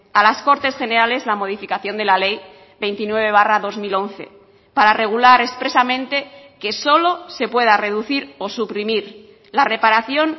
a las cortes generales la modificación de la ley veintinueve barra dos mil once para regular expresamente que solo se pueda reducir o suprimir la reparación